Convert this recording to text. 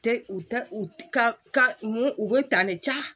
Tɛ u tɛ u ka ka mun u bɛ ta ne ja